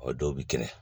O dɔw bi kɛnɛ